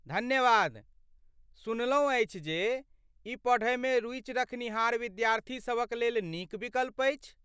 धन्यवाद, सुनलहुँ अछि जे ई पढ़यमे रूचि रखनिहार विद्यार्थी सभक लेल नीक विकल्प अछि।